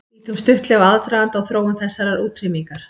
Lítum stuttlega á aðdraganda og þróun þessarar útrýmingar.